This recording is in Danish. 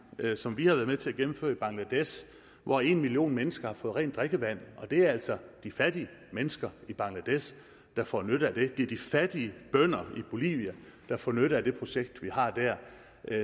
som vi har været med til at gennemføre i bangladesh hvor en million mennesker har fået rent drikkevand og det er altså de fattige mennesker i bangladesh der får nytte af det det er de fattige bønder i bolivia der får nytte af det projekt vi har dér